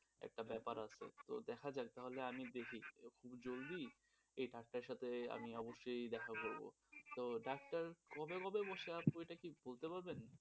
একটা ব্যাপার আছে তো দেখা যাক তাহলে আমি দেখি যদি এই ডাক্তারের সাথে আমি অবশ্যই দেখা করব তো ডাক্তার কবে কবে বসে আপু অইটা কি বলতে পারবেন?